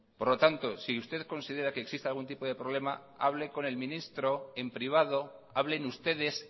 por lo tanto si usted considera que existe algún tipo de problema hable con el ministro en privado hablen ustedes